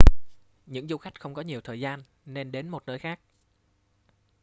những du khách không có nhiều thời gian nên đến một nơi khác